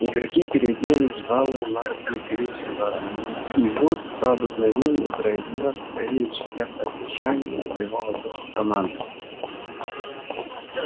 игроки переоделись в алые мантии гриффиндора и вуд по обыкновению произнёс речь для поддержания боевого духа команды